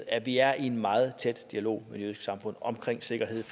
at vi er i en meget tæt dialog med det jødiske samfund om sikkerhed